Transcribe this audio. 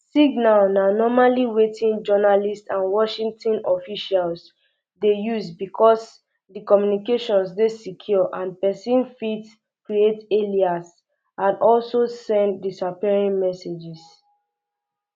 signal na normally wetin journalists and washington officials dey use bicos di communications dey secure and pesin fit um create alias and also send disappearing messages